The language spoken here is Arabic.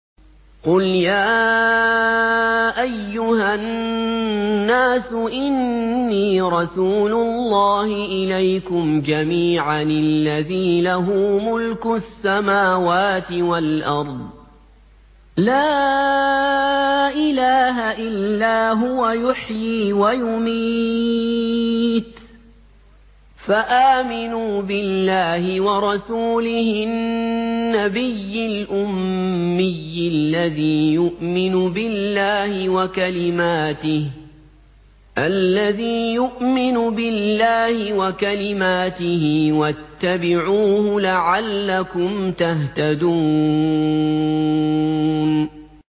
قُلْ يَا أَيُّهَا النَّاسُ إِنِّي رَسُولُ اللَّهِ إِلَيْكُمْ جَمِيعًا الَّذِي لَهُ مُلْكُ السَّمَاوَاتِ وَالْأَرْضِ ۖ لَا إِلَٰهَ إِلَّا هُوَ يُحْيِي وَيُمِيتُ ۖ فَآمِنُوا بِاللَّهِ وَرَسُولِهِ النَّبِيِّ الْأُمِّيِّ الَّذِي يُؤْمِنُ بِاللَّهِ وَكَلِمَاتِهِ وَاتَّبِعُوهُ لَعَلَّكُمْ تَهْتَدُونَ